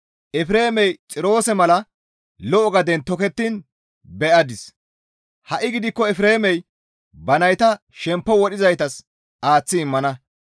Efreemey Xiroose mala lo7o gaden tokettiin be7adis; Ha7i gidikko Efreemey ba nayta shemppo wodhizaytas aaththi immana.